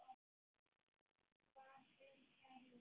Far vel, kæri vinur.